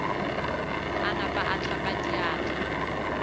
a napa a hlapa diatla